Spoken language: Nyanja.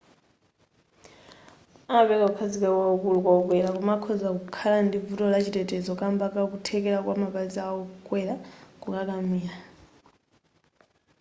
amapereka kukhazikika kwakukulu kwa okwera koma akhoza kukhala ndi vuto la chitetezo kamba ka kuthekera kwa mapazi a okwera kukakamira